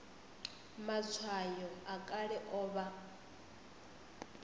matshwayo a kale o vha